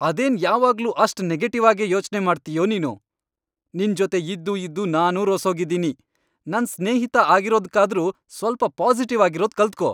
ಅದೇನ್ ಯಾವಾಗ್ಲೂ ಅಷ್ಟ್ ನೆಗೆಟಿವ್ ಆಗೇ ಯೋಚ್ನೆ ಮಾಡ್ತೀಯೋ ನೀನು! ನಿನ್ಜೊತೆ ಇದ್ದೂ ಇದ್ದೂ ನಾನೂ ರೋಸ್ಹೋಗಿದೀನಿ, ನನ್ ಸ್ನೇಹಿತ ಆಗಿರೋದ್ಕಾದ್ರೂ ಸ್ವಲ್ಪ ಪಾಸಿಟಿವ್ ಆಗಿರೋದ್ ಕಲ್ತ್ಕೋ!